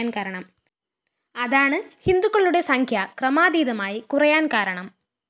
അതാണ് ഹിന്ദുക്കളുടെ സംഖ്യ ക്രമാതീതമായി കുറയാന്‍ കാരണം